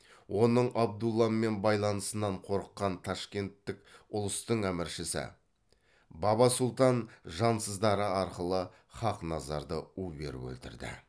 оның абдулламен байланысынан қорыққан ташкенттік ұлыстық әміршісі баба сұлтан жансыздары арқылы хақназарды у беріп өлтірді